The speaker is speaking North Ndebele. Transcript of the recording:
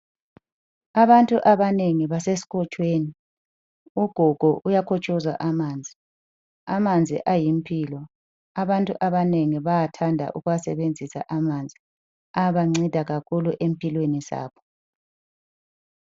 Abantu abanengi basesikotshweni. Ugogo uyakotshoza amanzi. Amanzi ayimpilo abantu abanengi bayathanda ukuwasebenzisa amanzi. Abanceda kakhulu empilweni zabo.